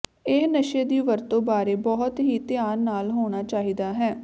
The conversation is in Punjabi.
ਇਹ ਨਸ਼ੇ ਦੀ ਵਰਤੋ ਬਾਰੇ ਬਹੁਤ ਹੀ ਧਿਆਨ ਨਾਲ ਹੋਣਾ ਚਾਹੀਦਾ ਹੈ